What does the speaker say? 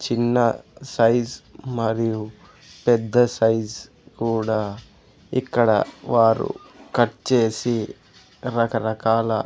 చిన్న సైజ్ మరియు పెద్ద సైజ్ కూడా ఇక్కడ వారు కట్ చేసి రకరకాల.